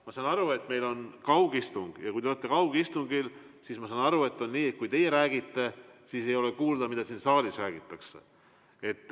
Ma saan aru, et meil on kaugistung ja kui te olete kaugistungil, siis ma saan aru, et on nii, et kui teie räägite, siis ei ole kuulda, mida siin saalis räägitakse.